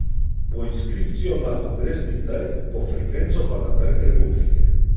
Po inskripcijo na Kongresni trg, po frekvenco pa na Trg republike.